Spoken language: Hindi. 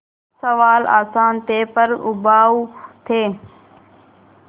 सवाल आसान थे पर उबाऊ थे